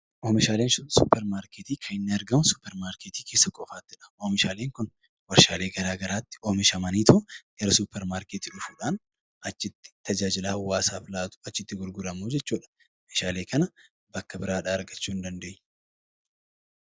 Oomishaaleen suuparmaarketii kan inni argamu suuparmaarketii qofaa keessattiidha. Oomishaaleen kun warshaalee garaa garaatti oomishamaniitu gara suuparmaarketii dhufuudhaan achitti tajaajila hawaasaaf laatu, achitti gurguramu jechuudha. Meeshaalee kana bakka biraadhaa argachuu hin dandeenyu.